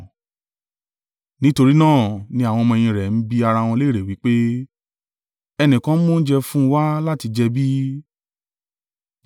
Nítorí náà ni àwọn ọmọ-ẹ̀yìn rẹ̀ ń bi ara wọn lérè wí pé, “Ẹnìkan mú oúnjẹ fún un wá láti jẹ bí?”